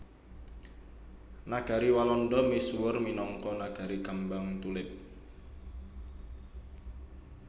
Nagari Walanda misuwur minangka nagari kembang tulip